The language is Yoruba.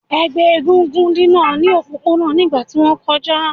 Ẹgbẹ eégún dina ni opopona nigba ti won koja